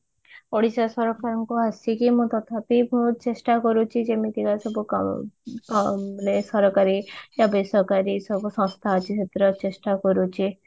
ଓଡିଶା ସରକାରଙ୍କୁ ଆସିକି ମୁଁ ତଥାବି ବହୁତ ଚେଷ୍ଟା କରୁଛି ଯେମିତି ବା ସବୁ କ ମାନେ ସରକାରୀ ୟା ବେସରକାରୀ ଏସବୁ ସଂସ୍ଥା ଅଛି ଏଥିରେ ଚେଷ୍ଟା କରୁଛି